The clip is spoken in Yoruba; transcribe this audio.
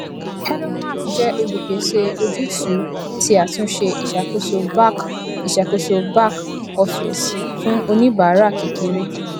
hedonmark jẹ olùpèsè ojútùú ti àtúnṣe ìṣàkóso back ìṣàkóso back office fún oníbàárà kékeré